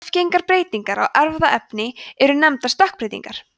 arfgengar breytingar á erfðaefninu eru nefndar stökkbreytingar